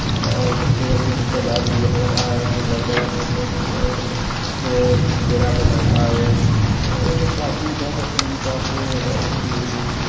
और चेयर के झाड़ भी लग रहा है कि लड़के के पिछे से अ उसे चेहरा पर लेताए और काफी बहोत एसी बाते है इसमे --